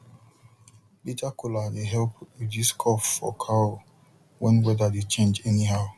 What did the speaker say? bitter kola dey help reduce cough for cow when weather dey change anyhow